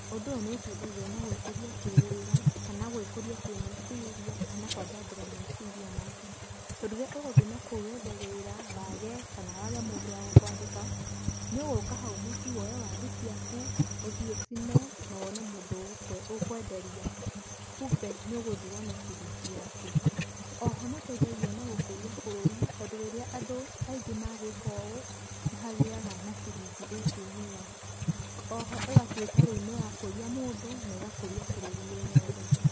Ũndũ ũyũ nĩ ũteithagia na gwĩkũria kĩwĩra, kana gwĩkũria kĩmeciria, kana kwandandũra meciria maku. Tondũ rĩrĩa ũgũthiĩ nakũu wethe wĩra wage, kana wage mũndũ wa gũkwandĩka, nĩũgũka hau mũcii woe waru ciaku, ũthiĩ ũcine na wone mũndũ ũkwenderia, kumbe nĩũgũthi wone ciringi yaku. Oho nĩ ũteithagia na gũkũria bũrũri tondũ rĩrĩa andũ aingĩ magwĩka ũũ, nĩhagĩaga na ciringi ĩkumĩra. Oho ĩgatuĩka rĩu nĩyakũria mũndũ na ĩgakũria bũrũri wĩ wothe.